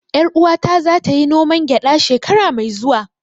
Ƴar uwata za ta yi noman gyada shekara mai zuwa